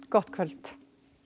gott kvöld